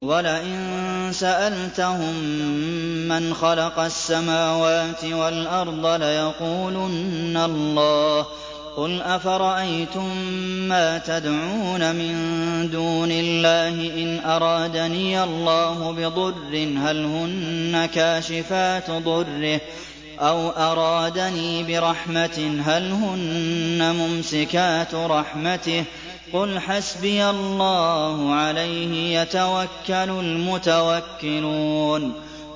وَلَئِن سَأَلْتَهُم مَّنْ خَلَقَ السَّمَاوَاتِ وَالْأَرْضَ لَيَقُولُنَّ اللَّهُ ۚ قُلْ أَفَرَأَيْتُم مَّا تَدْعُونَ مِن دُونِ اللَّهِ إِنْ أَرَادَنِيَ اللَّهُ بِضُرٍّ هَلْ هُنَّ كَاشِفَاتُ ضُرِّهِ أَوْ أَرَادَنِي بِرَحْمَةٍ هَلْ هُنَّ مُمْسِكَاتُ رَحْمَتِهِ ۚ قُلْ حَسْبِيَ اللَّهُ ۖ عَلَيْهِ يَتَوَكَّلُ الْمُتَوَكِّلُونَ